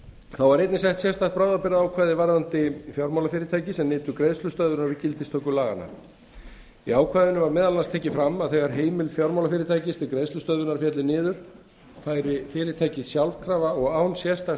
þá var einnig sett sérstakt bráðabirgðaákvæði varðandi fjármálafyrirtæki sem nytu greiðslustöðvunar við gildistöku laganna í ákvæðinu var meðal annars tekið fram að þegar heimild fjármálafyrirtækis til greiðslustöðvunar félli niður færi fyrirtækið sjálfkrafa og án sérstaks